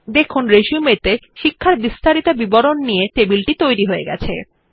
দেখুন রিসিউম ত়ে শিক্ষার বিস্তারিত বিবরণ নিয়ে টেবিল তৈরী হয়ে গেছে